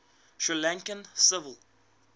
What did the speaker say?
sri lankan civil